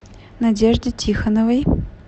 надежде тихоновой